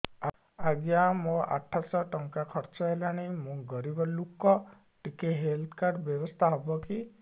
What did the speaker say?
ଆଜ୍ଞା ମୋ ଆଠ ସହ ଟଙ୍କା ଖର୍ଚ୍ଚ ହେଲାଣି ମୁଁ ଗରିବ ଲୁକ ଟିକେ ହେଲ୍ଥ କାର୍ଡ ବ୍ୟବସ୍ଥା ହବ କି